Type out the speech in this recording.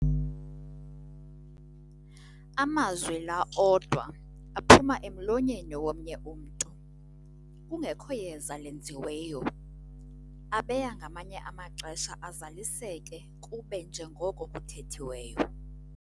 Amazwi laa odwa aphuma emlonyeni womnye umntu, kungekho yeza lenziweyo, abeya ngamanye amaxesha azaliseke kube njengoko kuthethiweyo.